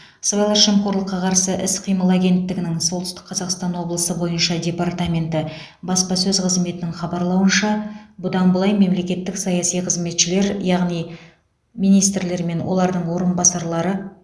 сыбайлас жемқорлыққа қарсы іс қимыл агенттігінің солтүстік қазақстан облысы бойынша департаменті баспасөз қызметінің хабарлауынша бұдан былай мемлекеттік саяси қызметшілер яғни министрлер мен олардың орынбасарлары